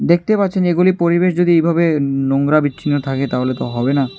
দেখতে পাচ্ছেন এগুলি পরিবেশ যদি এইভাবে নোংরা বিচ্ছিন্ন থাকে তাহলে তো হবে না।